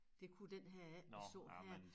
Det kunne den her ikke vi så her